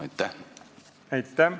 Aitäh!